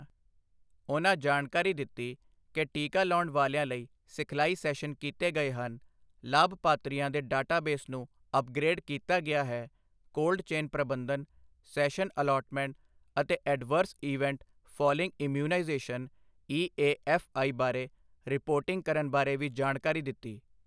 ਉਹਨਾਂ ਜਾਣਕਾਰੀ ਦਿੱਤੀ ਕਿ ਟੀਕਾ ਲਾਉਣ ਵਾਲਿਆਂ ਲਈ ਸਿਖਲਾਈ ਸੈਸ਼ਨ ਕੀਤੇ ਗਏ ਹਨ, ਲਾਭਪਾਤਰੀਆਂ ਦੇ ਡਾਟਾ ਬੇਸ ਨੂੰ ਅਪਗ੍ਰੇਡ ਕੀਤਾ ਗਿਆ ਹੈ, ਕੋਲਡ ਚੇਨ ਪ੍ਰਬੰਧਨ, ਸੈਸ਼ਨ ਅਲਾਟਮੈਂਟ ਅਤੇ adverse event following immunisation E A F I ਬਾਰੇ ਰਿਪੋਰਟਿੰਗ ਕਰਨ ਬਾਰੇ ਵੀ ਜਾਣਕਾਰੀ ਦਿੱਤੀ।